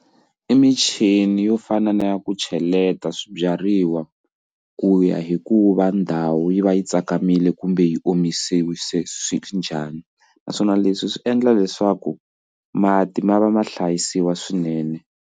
I michini yo fana na ya ku cheleta swibyariwa ku ya hikuva ndhawu yi va yi tsakamile kumbe yi omisiwa se swi njhani naswona leswi swi endla leswaku mati ma va ma hlayisiwa swinene.